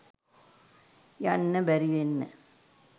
යන්න බැරි වෙන්න